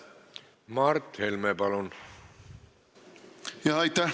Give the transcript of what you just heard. Mart Helme, palun!